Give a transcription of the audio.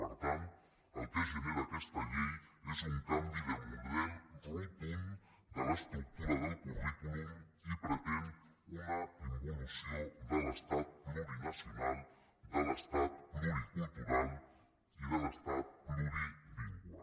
per tant el que genera aquesta llei és un canvi de model rotund de l’estructura del currículum i pretén una involució de l’estat plurinacional de l’estat pluricultural i de l’estat plurilingüe